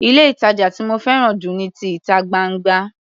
Ilé-ìtàjà tí mo fẹ́ràn jù ni ti ìta gbangba.